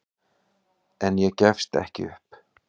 En ég gefst ekki upp.